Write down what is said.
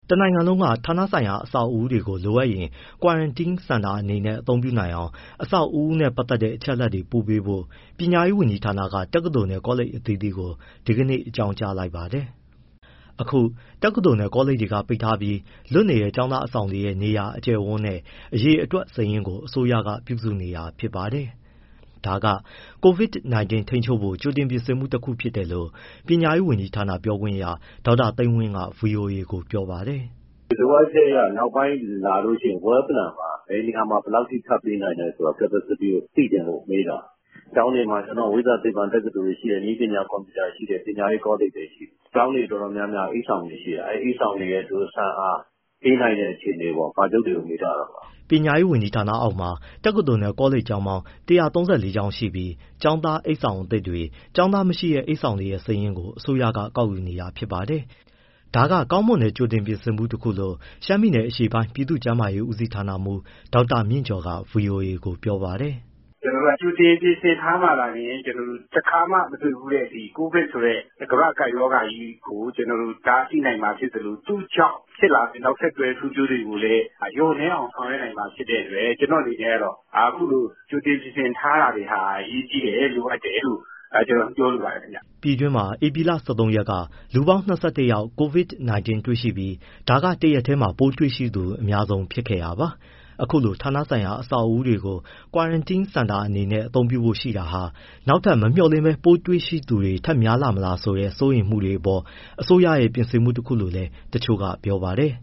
တနိုင်ငံလုံးက ဌာနပိုင်အဆောက်အဦးတွေကို လိုအပ်ရင် Quarantine center တွေအနေနဲ့သုံးနိုင်အောင် အဆောက်အဦးနဲ့ပတ်သက်တဲ့ အချက်အလက်တွေ ပို့ပေးဖို့ ပညာရေးဝန်ကြီးဌာနက တက္ကသိုလ်နဲ့ ကောလိပ်အသီးသီးကို ဒီကနေ့ အကြောင်းကြားလိုက်ပါတယ်။ ဒီအကြောင်း ဗွီအိုအေမြန်မာပိုင်း သတင်းထောက် ကိုဇော်ထက်က ပြောပြပေးပါမယ်။ အခု တက္ကသိုလ်၊ ကောလိပ်တွေက ပိတ်ထားပြီး လွတ်နေတဲ့ ကျောင်းသားအဆောင်တွေရဲ့ နေရာ၊ အကျယ်အဝန်းနဲ့ အရေအတွက် စာရင်းကို အစိုးရက ပြုစုနေတာဖြစ်ပါတယ်။ ဒါက COVID-19 ထိန်းချုပ်ဖို့ ကြိုတင်ပြင်ဆင်မှု တခုဖြစ်တယ်လို့ ပညာရေးဝန်ကြီးဌာန ပြောခွင့်ရ ဒေါက်တာ သိန်းဝင်းက ဗွီအိုအေကို ပြောပါတယ်။ “လိုအပ်ချက်အရ နောက်ပိုင်း လာလို့ရှိရင် well planned ပါ၊ ဘယ်နေရာမှာ ဘယ်လောက်အထိ ထပ်ပေးနိုင်လဲဆိုတာ capacity ကို သိချင်လို့မေးတာ၊ ကျောင်းတွေမှာ ဝိဇ္ဇာ၊ သိပ္ပံတက္ကသိုလ်တွေ ရှိတယ်၊ နည်းပညာ၊ ကွန်ပျူတာရှိတယ်၊ ပညာရေးကောလိပ်တွေ ရှိတယ်၊ ကျောင်းတွေ တော်တော်များများက အိပ်ဆောင်တွေ ရှိတယ်၊ အဲဒီ အိပ်ဆောင်တွေရဲ့ ဆံ့အား၊ ပေးနိုင်တဲ့ အခြေအနေကို ပါချုပ်တွေကို မေးထားတာပါ။” ပညာရေးဝန်ကြီးဌာနအောက်မှာ တက္ကသိုလ်နဲ့ ကောလိပ်ပေါင်း ၁၃၄ ကျောင်းရှိပြီး ကျောင်းသား အိပ်ဆောင်အသစ်တွေ၊ ကျောင်းသားမရှိတဲ့ အိပ်ဆောင်တွေရဲ့ စာရင်းကို အစိုးရက ကောက်ယူနေတာဖြစ်ပါတယ်။ ဒါက ကောင်းမွန်တဲ့ ကြိုတင်ပြင်ဆင်မှုတခုလို့ ရှမ်းပြည်အရှေ့ပိုင်း ပြည်သူ့ကျန်းမာရေးဦးစီးဌာနမှူး ဒေါက်တာမြင့်ကျော်က ဗွီအိုအေကို ပြောပါတယ်။ “ကြိုတင်ပြင်ဆင်ထားမှာသာလျှင် ကျနော်တို့ တခါမှ မတွေ့ဖူးတဲ့ COVID ဆိုတဲ့ ကမ္ဘာ့ကပ်ရောဂါကြီးကို ကျနော်တို့ တားဆီးနိုင်မှာ ဖြစ်သလို သူ့ကြောင့်ဖြစ်လာမယ့် နောက်ဆက်တွဲ ဆိုးကျိုးတွေကိုလည်း လျှော့နည်းအောင် ဆောင်ရွက်နိုင်မှာ ဖြစ်တဲ့အတွက် အခုလို ကြိုတင် ပြင်ဆင်ထားတာတွေဟာ အရေးတကြီးလိုအပ်တယ်လို့ ပြောလိုပါတယ်။” ပြည်တွင်းမှာ ဧပြီလ ၁၃ ရက်က လူပေါင်း ၂၁ ယောက် COVID-19 တွေ့ရှိခဲ့ပြီး ဒါက တရက်ထဲမှာ ပိုးတွေ့ရှိသူ အများဆုံးဖြစ်ခဲ့တာပါ။ အခုလို ဌာနဆိုင်ရာအဆောက်အဦတွေကို Quarantine center အနေနဲ့သုံးဖို့ရှိတာဟာ နောက်ထပ် မမျှော်လင့်ဘဲ ပိုးတွေ့ရှိသူတွေ ထပ်များလာမလားဆိုတဲ့ စိုးရိမ်မှုတွေအပေါ် အစိုးရရဲ့ ပြင်ဆင်မှုတခုလို့လည်း တချို့ကပြောပါတယ်